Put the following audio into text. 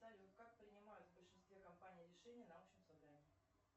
салют как принимают в большинстве компаний решения на общем собрании